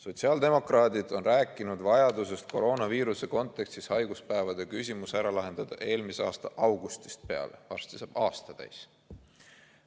Sotsiaaldemokraadid on rääkinud vajadusest koroonaviiruse kontekstis haiguspäevade küsimus ära lahendada eelmise aasta augustist peale, varsti saab aasta täis.